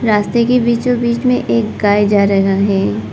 रास्ते के बीचो बीच में एक गाय जा रहा है।